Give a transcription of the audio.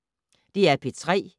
DR P3